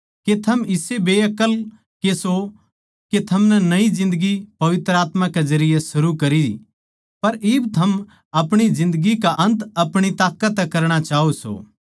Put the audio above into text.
के थम इसे बेअक्ल के सों के थमनै नई जिन्दगी पवित्र आत्मा के जरिये शुरू करी पर इब थम अपणी जिन्दगी का अन्त आपणी ताकत तै करणा चाहो सों